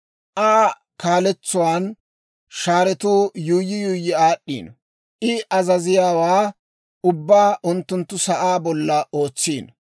Aa kaaletsuwaan shaaretuu yuuyyi yuuyyi aad'd'iino; I azaziyaawaa ubbaa unttunttu sa'aa bolla ootsiino.